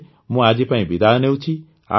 ଏବେ ମୁଁ ଆଜି ପାଇଁ ବିଦାୟ ନେଉଛି